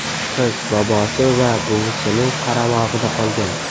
Qiz bobosi va buvisining qaramog‘ida qolgan.